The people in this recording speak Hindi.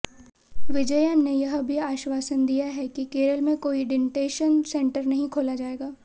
विजयन ने यह भी आश्वासन दिया कि केरल में कोई डिटेंशन सेंटर नहीं खोला जाएगा